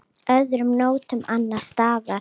Öðrum nóttum annars staðar?